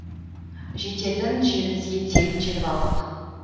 жететін жерімізге тегін жетіп алдық